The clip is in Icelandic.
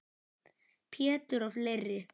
Pétur og fleiri.